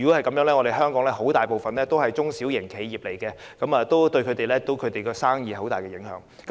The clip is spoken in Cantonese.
鑒於香港大部分公司都是中小型企業，這樣對其生意將有很大的影響。